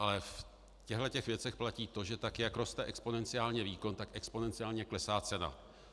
Ale v těchto věcech platí to, že tak jak roste exponenciálně výkon, tak exponenciálně klesá cena.